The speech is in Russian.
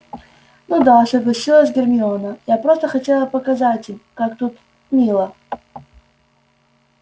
ну да согласилась гермиона я просто хотела им показать как тут мило